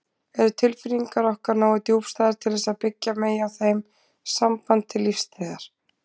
Eru tilfinningar okkar nógu djúpstæðar til þess að byggja megi á þeim samband til lífstíðar?